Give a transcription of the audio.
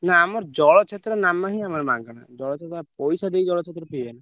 ନା ଆମର ଜଳଛତ୍ର ନାମା ହିଁ ଆମର ମାଗଣା ଜଳଛତ୍ର ପଇସା ଦେଇ ଜଳଛତ୍ର ପିଇବେନି।